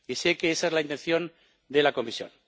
Y sé que esa es la intención de la Comisión.